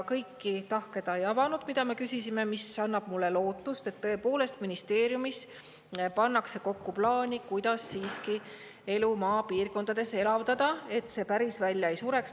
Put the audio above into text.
Kõiki tahke ta ei avanud, mida me küsisime, mis annab mulle lootust, et tõepoolest ministeeriumis pannakse kokku plaani, kuidas siiski elu maapiirkondades elavdada, et see päris välja ei sureks.